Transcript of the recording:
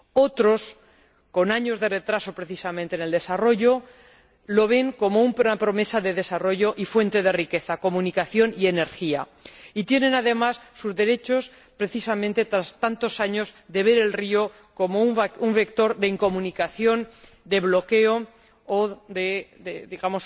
Otros, con años de retraso precisamente en el desarrollo, lo ven como una promesa de desarrollo y fuente de riqueza, comunicación y energía. Y tienen además sus derechos, precisamente tras tantos años de ver el río como un vector de incomunicación, de bloqueo o de